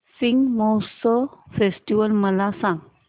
Shigmotsav festival मला सांग